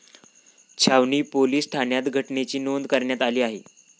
छावणी पोलीस ठाण्यात घटनेची नोंद कऱण्यात आली आहे.